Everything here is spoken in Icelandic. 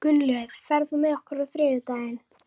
Svo hlær hann að sjálfum sér innst inni.